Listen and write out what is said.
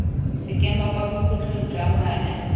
sekema kwa bokhutlhong jwa ngwaga